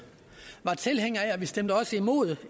var tilhænger af vi stemte også imod